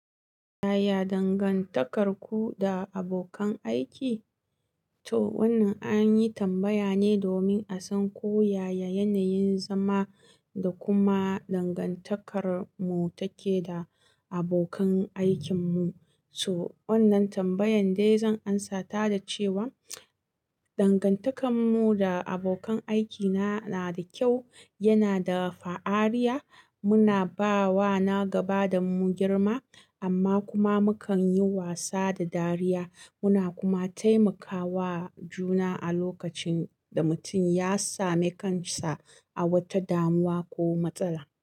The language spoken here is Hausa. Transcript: Yaya dangantakarku da abokan aiki? To wannan an yi tambaya ne domin a san ko yaya yanayin zama da kuma dangantakar mu take da abokan aikin mu. So wannan tambayan dai zan amsa ta da cewa dangantakar mu da abokan aikina na da kyau, yana da fa'ariya. Muna ba wa na gaba da mu girma amma kuma mukan yi wasa da dariya. Muna kuma taimakawa juna a lokacin da mutum ya sami kansa a wata damuwa ko matsala.